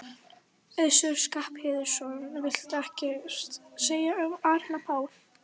Össur Skarphéðinsson: Viltu ekkert segja um Árna Pál?